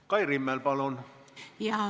Kai Rimmel, palun!